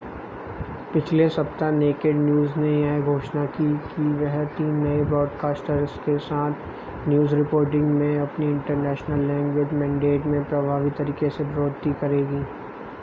पिछले सप्ताह Naked News ने यह घोषणा की कि वह तीन नए ब्रॉडकास्ट्स के साथ न्यूज़ रिपोर्टिंग में अपनी इंटरनेशन लैंग्वेज़ मेनडेट में प्रभावी तरीके से बढ़ोतरी करेगी